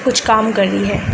कुछ काम कर रही है।